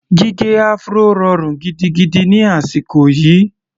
Gígẹ áfúró rọrùn gidigidi ni àsìkò yìí.